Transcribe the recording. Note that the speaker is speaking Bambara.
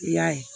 I y'a ye